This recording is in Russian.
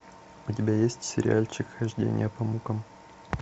у тебя есть сериальчик хождение по мукам